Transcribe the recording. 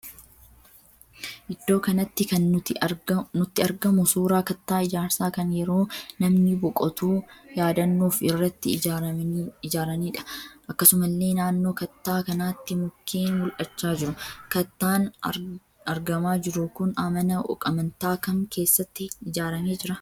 Iddoo kanatti kan nutti argamu suuraa kattaa ijaarsaa kan yeroo namni boqotu yaadannoof irratti ijaaraniidha. Akkasumallee nannoo kattaa kanaatti mukkeen mul'achaa jiru. Kattaan argamaa jiru kun mana amantaa kam keessatti ijaaramee jira?